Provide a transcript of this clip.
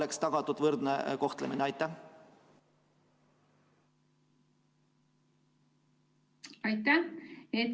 Aitäh!